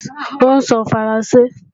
Ó ń sọ Faransé